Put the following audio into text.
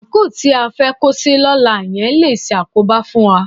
Àńkò tí a fẹ́ kó sí lọ́la yẹn le ṣàkóbá fún wa